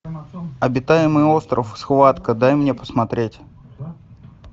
обитаемый остров схватка дай мне посмотреть